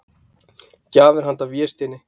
Gjafir handa Vésteini.